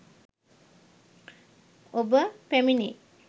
ඔබ පැමිණෙයි.